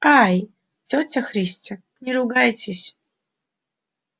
ай тётя христя не ругайтесь